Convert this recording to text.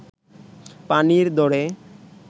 পানির দরে